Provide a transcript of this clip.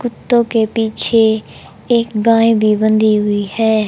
कुत्तों के पीछे एक गाय भी बंधी हुई है।